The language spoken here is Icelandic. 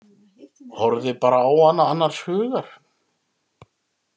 Horfði bara á hana annars hugar.